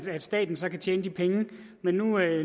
at staten så kan tjene de penge men nu er